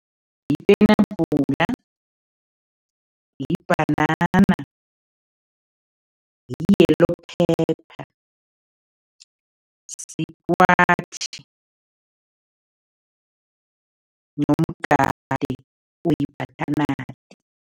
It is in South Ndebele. Yipenabhula, yibhanana, yi-yellow pepper, sikwashi nomgade we-butternut.